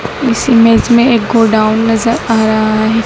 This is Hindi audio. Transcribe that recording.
इस इमेज में एक गोडाउन नजर आ रहा है।